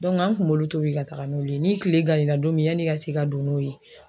an kun b'olu tobi ka taga n'olu ye. Ni tile gann'i na don min yan'i ka se ka don n'o ye